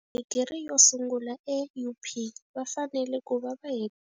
Digiri yo sungula eUP va fanele ku va va.